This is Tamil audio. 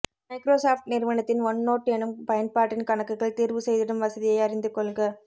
மைக்ரோ சாப்ட் நிறுவனத்தின் ஒன்நோட் எனும் பயன்பாட்டின் கணக்குகள் தீர்வுசெய்திடும் வசதியை அறிந்து கொள்க